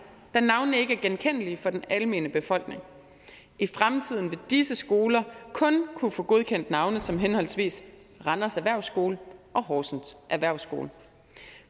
da navnene ikke er genkendelige for den almene befolkning i fremtiden vil disse skoler kun kunne få godkendt navne som henholdsvis randers erhvervsskole og horsens erhvervsskole